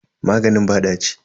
Maganin ba ɗaci.